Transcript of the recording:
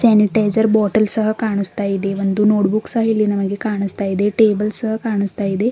Sanitiser bottle ಸಹಾ ಕಾಣುಸ್ತಾಯಿದೆ ಒಂದು ನೋಟ್ ಬುಕ್ ಸಹಾ ಇಲ್ಲಿ ನಮಗೆ ಕಾಣುಸ್ತಾಯಿದೆ ಟೇಬಲ್ ಸಹಾ ಕಾಣುಸ್ತಾಯಿದೆ.